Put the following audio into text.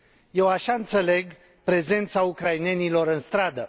Eu așa înțeleg prezența ucrainenilor în stradă.